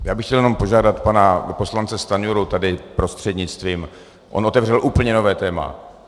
Já bych chtěl jenom požádat pana poslance Stanjuru, tady prostřednictvím, on otevřel úplně nové téma.